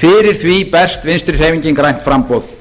fyrir því berst vinstri hreyfingin grænt framboð